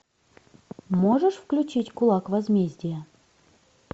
можешь включить кулак возмездия